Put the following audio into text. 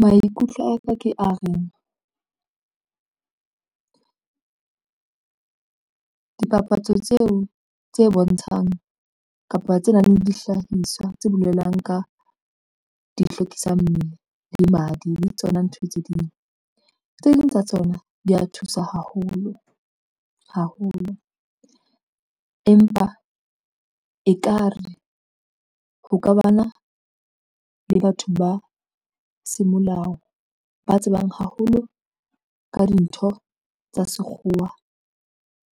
Maikutlo aka ke a reng dipapatso tseo tse bontshang kapa tse nang le dihlahiswa tse bolelang ka di hlwekisang mmele le madi le tsona ntho tse ding tsa tsona di ya thusa haholo haholo empa ekare ho ka bana le batho ba semolao ba tsebang haholo ka dintho tsa sekgowa